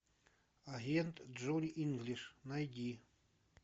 агент джонни инглиш найди